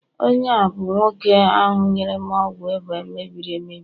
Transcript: onye a bụ nwoke ahu nyere m ọgwụ ịba mebiri emebi